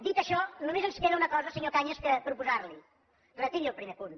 dit això només ens queda una cosa senyor cañas per proposar li retiri el primer punt